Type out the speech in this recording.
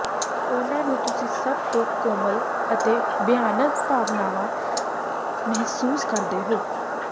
ਉਨ੍ਹਾਂ ਨੂੰ ਤੁਸੀਂ ਸਭ ਤੋਂ ਕੋਮਲ ਅਤੇ ਭਿਆਨਕ ਭਾਵਨਾਵਾਂ ਮਹਿਸੂਸ ਕਰਦੇ ਹੋ